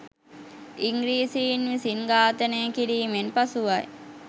ඉංග්‍රීසින් විසින් ඝාතනය කිරීමෙන් පසුවයි.